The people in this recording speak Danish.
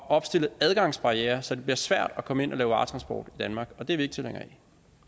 opstille adgangsbarrierer så det bliver svært at komme ind og lave varetransport i danmark og det er vi ikke tilhængere